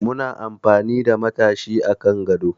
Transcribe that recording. Muna amfani da matashi a kan gado